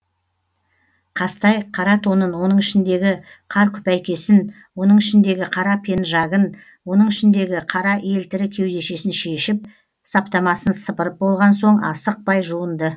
қазтай қара тонын оның ішіндегі кар күпәйкесін оның ішіндегі қара пенжагын оның ішіндегі қара елтірі кеудешесін шешіп саптамасын сыпырып болған соң асықпай жуынды